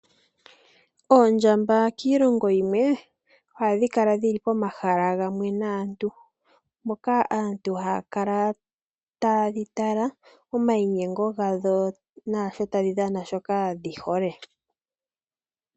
Oondjamba kiilongo yilwe ohadhi kala dhili pomahala gamwe naantu, moka aantu haya kala taye dhi tala omayinyengo gadho nuudhano wadho shoka dhihole.